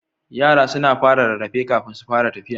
Yara suna fara rarrafe kafin su fara tfiya.